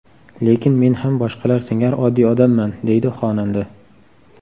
Lekin men ham boshqalar singari oddiy odamman”, deydi xonanda.